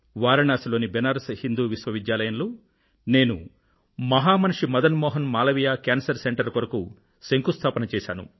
వారణాసి లోని బనారస్ హిందూ విశ్వవిద్యాలయంలో నేను మహామనిషి మదన్ మోహన్ మాలవీయ కేన్సర్ సెంటర్ కు పునాదిరాయి వేశాను